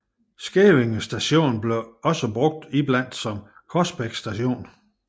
Skævinge Station blev dog også brugt iblandt som Korsbæk Station